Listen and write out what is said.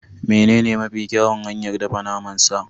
Menene mafi kyawun hanyar dafa naman sa?